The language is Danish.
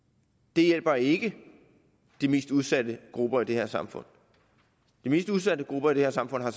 det hjælper ikke de mest udsatte grupper i det her samfund de mest udsatte grupper i det her samfund har